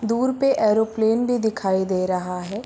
दूर पे एरोप्लेन भी दिखाई दे रहा है।